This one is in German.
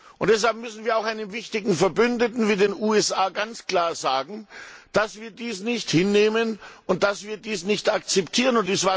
Daher müssen wir auch einem wichtigen Verbündeten, wie den USA, ganz klar sagen, dass wir dies nicht hinnehmen und dies nicht akzeptieren.